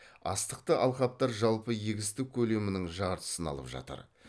астықты алқаптар жалпы егістік көлемінің жартысын алып жатыр